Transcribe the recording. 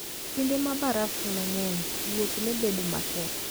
Kinde ma baraf ne ng'eny, wuoth ne bedo matek.